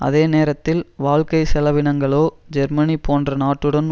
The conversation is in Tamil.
அதே நேரத்தில் வாழ்க்கை செலவினங்களோ ஜெர்மனி போன்ற நாட்டுடன்